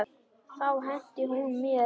Þá henti hún mér út.